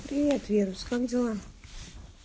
привет вирус как дела